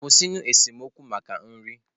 Kwụsịnụ esemokwu maka nri!